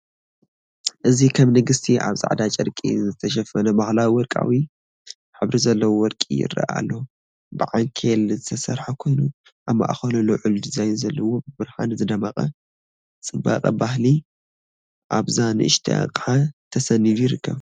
እዚ ከም ንግስቲ ኣብ ጻዕዳ ጨርቂ ዝተሸፈነ ባህላዊ ወርቃዊ ሕብሪ ዘለዎ ወርቂ ይረአ ኣሎ። ብዓንኬል ዝተሰርሐ ኮይኑ ኣብ ማእከሉ ልዑል ዲዛይን ዘለዎ ብብርሃን ይደምቕ። ጽባቐ ባህሊ ኣብዛ ንእሽቶ ኣቕሓ ተሰኒዱ ይርከብ።